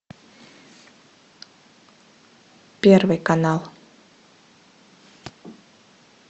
первый канал